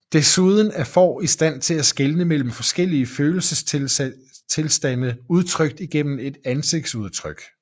Desuden er får i stand til skelne mellem forskellige følelsestilstande udtrykt gennem ansigtsudtryk